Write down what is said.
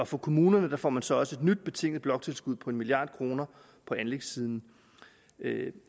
for kommunerne får man så også et nyt betinget bloktilskud på en milliard kroner på anlægssiden